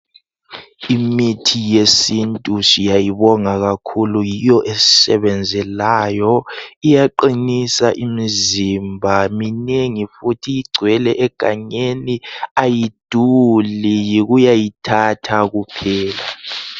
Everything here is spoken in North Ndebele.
Imithi yesiNtu siyayibonga kakhulu yiyo esisebenzelayo iyaqinisa imizimba minengi futhi igcwele egangeni ayiduli yikuyayithatha kuphela.